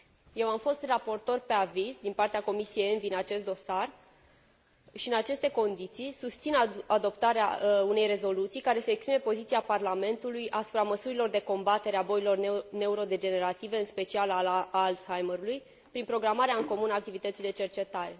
Eu am fost raportor pe aviz din partea Comisiei ENVI în acest dosar și, în aceste condiții, susțin adoptarea unei rezoluții care să exprime poziția Parlamentului asupra măsurilor de combatere a bolilor neurodegenerative, în special a maladiei Alzheimer, prin programarea în comun a activității de cercetare.